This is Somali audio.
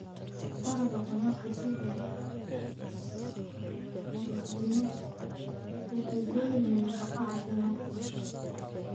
Dalagga khudradda sida isbinaajka waxay leeyihiin nafaqo caafimaad leh.